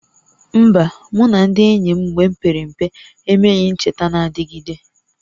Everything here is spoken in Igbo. Mba, mụ na ndị enyi m mgbe m pere mpe emeghị ncheta na-adịgide